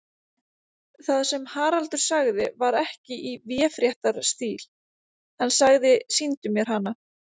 Það sem Haraldur sagði var ekki í véfréttarstíl, hann sagði: Sýndu mér hana.